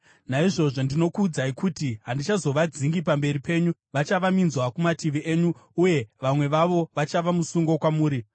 Naizvozvo zvino ndinokuudzai kuti handichazovadzingi pamberi penyu, vachava minzwa kumativi enyu uye vamwe vavo vachava musungo kwamuri.”